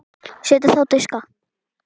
Setjið á diska.